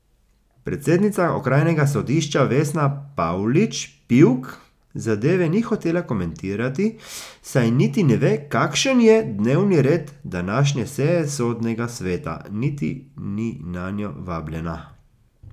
Predsednica okrajnega sodišča Vesna Pavlič Pivk zadeve ni hotela komentirati, saj niti ne ve, kakšen je dnevni red današnje seje sodnega sveta, niti ni nanjo vabljena.